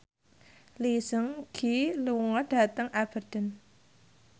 Lee Seung Gi lunga dhateng Aberdeen